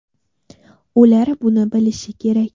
Ular buni bilishi kerak.